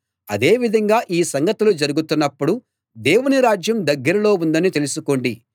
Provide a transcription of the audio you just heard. అదే విధంగా ఈ సంగతులు జరుగుతున్నప్పుడు దేవుని రాజ్యం దగ్గరలో ఉందని తెలుసుకోండి